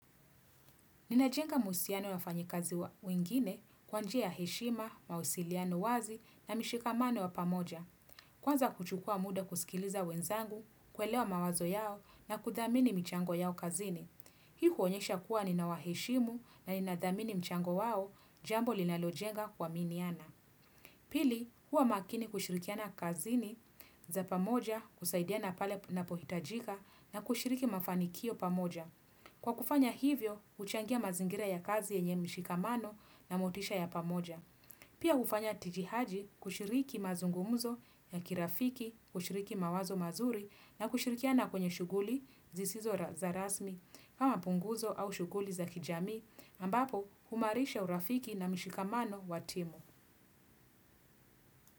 Ninajenga mahusiano ya wafanyi kazi wengine kwa njia ya heshima, mahusiliano wazi na mshikamano wa pamoja. Kwanza kuchukua muda kusikiliza wenzangu, kuelewa mawazo yao na kudhamini michango yao kazini. Hii huonyesha kuwa nina waheshimu na ninadhamini mchango wao jambo linalojenga kuaminiana. Pili, huwa makini kushirikiana kazini za pamoja kusaidiana pale napohitajika na kushiriki mafanikio pamoja. Kwa kufanya hivyo, uchangia mazingira ya kazi yenye mshikamano na motisha ya pamoja. Pia ufanya tijihaji kushiriki mazungumuzo ya kirafiki, kushiriki mawazo mazuri na kushirikiana kwenye shughuli zisizo za rasmi kama punguzo au shughuli za kijami ambapo humaarisha urafiki na mshikamano wa timu.